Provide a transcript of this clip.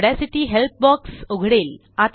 Audacity help box उघडेल